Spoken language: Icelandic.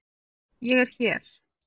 Ég er hér.